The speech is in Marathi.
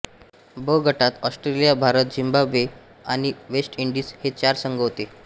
ब गटात ऑस्ट्रेलिया भारत झिम्बाब्वे आणि वेस्ट इंडीज हे चार संघ होते